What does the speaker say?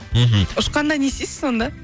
мхм ұшқанда не істейсіз сонда